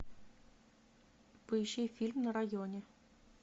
поищи фильм на районе